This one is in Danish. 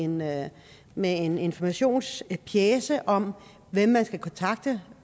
med med en informationspjece om hvem man skal kontakte